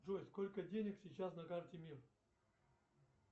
джой сколько денег сейчас на карте мир